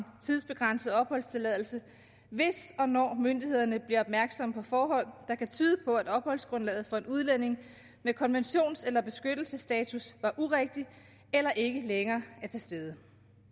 tidsbegrænset opholdstilladelse hvis og når myndighederne bliver opmærksomme på forhold der kan tyde på at opholdsgrundlaget for en udlænding med konventions eller beskyttelsesstatus er urigtigt eller ikke længere er til stede